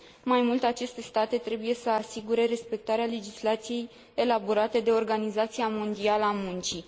Mai mult, aceste state trebuie să asigure respectarea legislației elaborate de Organizația Internațională a Muncii.